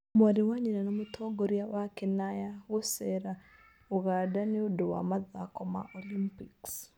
Mwarĩ wa nyina na mũtongoria wa Kenaya gũceera Uganda nĩ ũndũ wa mathako ma Olympics